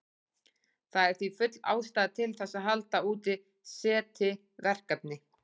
Það er því full ástæða til þess að halda úti SETI-verkefni.